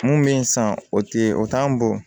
Mun bɛ yen sa o tɛ ye o t'an bo